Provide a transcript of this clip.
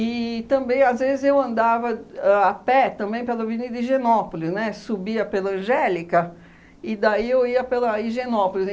E também, às vezes, eu andava ãh a pé também pela Avenida Higienópolis, né, subia pela Angélica e daí eu ia pela Higienópolis.